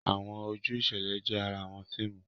Awọn oju iṣẹlẹ jẹ àrà awọn fíìmù.